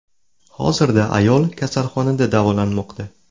Hozirda ayol kasalxonada davolanmoqda.